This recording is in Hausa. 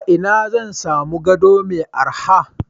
A ina zan sami gado mai araha?